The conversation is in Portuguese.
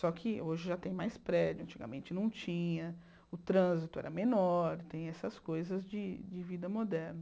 Só que hoje já tem mais prédio, antigamente não tinha, o trânsito era menor, tem essas coisas de de vida moderna.